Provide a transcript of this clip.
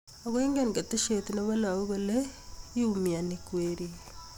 Ako ingen keteshe ne be lagok kole iumianik weriik.